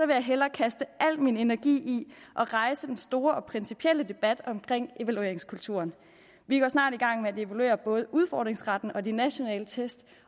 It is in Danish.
vil jeg hellere kaste al min energi ind i at rejse den store og principielle debat omkring evalueringskulturen vi går snart i gang med at evaluere både udfordringsretten og de nationale test